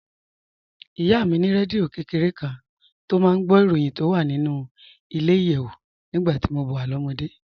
Ìyá mi ní rédíò kékeré kan tó máa ń gbọ́ ìròyìn tó wà nínú ilẹ̀-ìyẹ̀wù nígbà tí mo wà lọ́mọdé